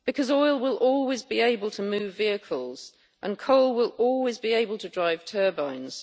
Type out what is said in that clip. Oil will always be able to move vehicles and coal will always be able to drive turbines.